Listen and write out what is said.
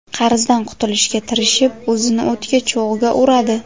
Qarzdan qutulishga tirishib, o‘zini o‘tga, cho‘g‘ga uradi.